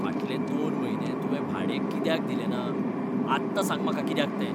फाटलें दोन म्हयने तुंवें भाडें कित्याक दिले ना? आत्तां सांग म्हाका कित्याक तें.